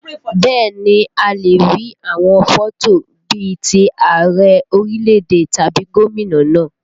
Bẹ́ẹ̀ ni, a lè rí àwọn fọ́tò bí ti Ààrẹ orílẹ̀èdè tàbí gómìnà náà